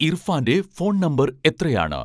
ഇർഫാന്റെ phone number എത്രയാണ്